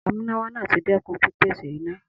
Amúnáwá náà ti dẹ́kun pípèsè iná.